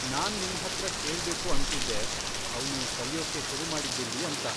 ನಾನ್ ನಿನ್ಹತ್ರ ಕೇಳ್ಬೇಕು ಅಂತಿದ್ದೆ, ಅವ್ನು ಕಲಿಯೋಕ್ಕೆ ಶುರು ಮಾಡಿದ್ದೆಲ್ಲಿ ಅಂತ.